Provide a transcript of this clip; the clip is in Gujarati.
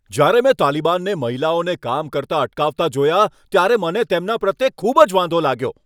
જ્યારે મેં તાલિબાનને મહિલાઓને કામ કરતા અટકાવતા જોયા, ત્યારે મને તેમના પ્રત્યે ખૂબ જ વાંધો લાગ્યો.